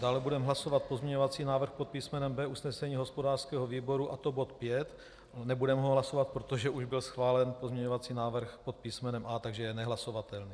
Dále budeme hlasovat pozměňovací návrh pod písmenem B usnesení hospodářského výboru, a to bod 5. - Nebudeme ho hlasovat, protože už byl schválen pozměňovací návrh pod písmenem A, takže je nehlasovatelný.